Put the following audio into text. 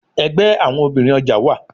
Ẹgbẹ awọn obinrin ọja wa